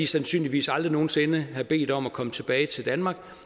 sandsynligvis aldrig nogen sinde have bedt om at komme tilbage til danmark